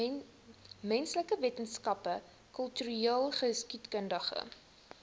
menslike wetenskappe kultureelgeskiedkundige